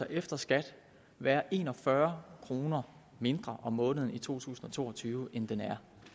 efter skat være en og fyrre kroner mindre om måneden i to tusind og to og tyve end den er